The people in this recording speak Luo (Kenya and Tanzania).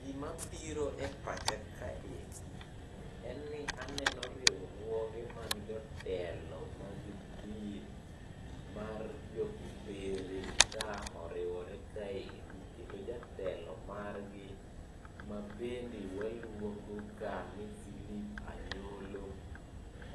Gima biro e pacha ka endi en ni aneno riwruoge mag jotelo mag din mar jo Kopere ka oriwore kaendi. Kendo jatelo margi mabende waluongo ka ni Philip Anyolo,